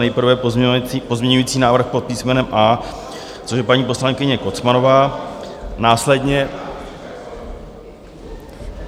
Nejprve pozměňovací návrh pod písmenem A, což je paní poslankyně Kocmanová, následně...